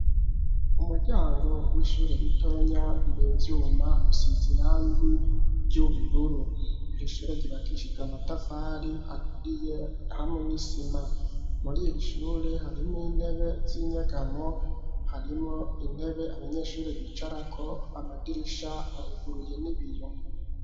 Umuryango w'ishure ritonya wivyuma usizi rangi ry'uburur, irishure ryubakishijwe amatafari aturiye hamwe n'isima ,muriri shure harimwo intebe z'inyegamo harimo intebe abanyeshure bicarako amadirisha aruguruye n'ibiyo.